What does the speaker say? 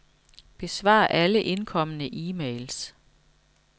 Besvar alle indkomne e-mails.